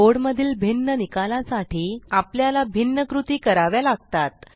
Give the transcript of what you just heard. code मधील भिन्न निकाला साठी आपल्याला भिन्न कृती कराव्या लागतात